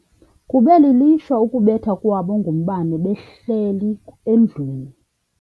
Kube lilishwa ukubethwa kwabo ngumbane behleli endlwini.